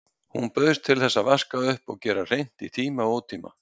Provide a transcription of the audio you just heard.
Hún bauðst til að vaska upp og gera hreint í tíma og ótíma.